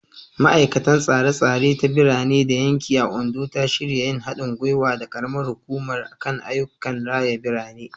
Ma’aikatar Tsare-tsare ta Birane da Yanki a Ondo ta shirya yin hadin gwiwa da karamar hukumar kan ayyukan raya birane.